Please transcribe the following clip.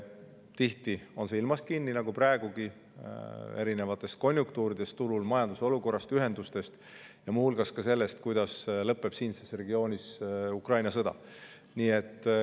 Tihti on see kinni ilmas nagu praegugi, erinevates konjunktuurides turul, majanduse olukorras, ühendustes ja muu hulgas ka selles, kuidas lõpeb siinses regioonis Ukraina sõda.